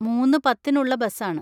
മൂന്ന്‌ പത്തിന് ഉള്ള ബസാണ്.